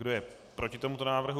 Kdo je proti tomuto návrhu?